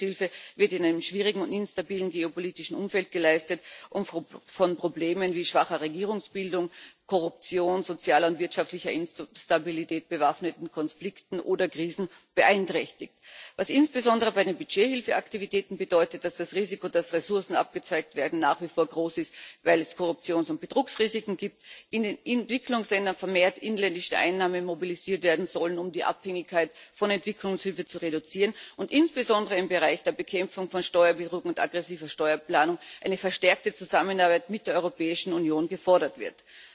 Entwicklungshilfe wird in einem schwierigen und instabilen geopolitischen Umfeld geleistet und von Problemen wie schwacher Regierungsbildung, Korruption, sozialer und wirtschaftlicher Instabilität, bewaffneten Konflikten oder Krisen beeinträchtigt was insbesondere bei den Budgethilfeaktivitäten bedeutet, dass das Risiko, dass Ressourcen abgezweigt werden, nach wie vor groß ist, weil es Korruptions und Betrugsrisiken gibt, in Entwicklungsländern vermehrt inländische Einnahmen mobilisiert werden sollen, um die Abhängigkeit von Entwicklungshilfe zu reduzieren, und insbesondere im Bereich der Bekämpfung von Steuerbetrug und aggressiver Steuerplanung eine verstärkte Zusammenarbeit mit der Europäischen Union gefordert wird.